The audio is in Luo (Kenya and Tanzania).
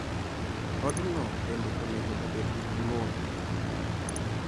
Odno bende onego obed gi pi modho.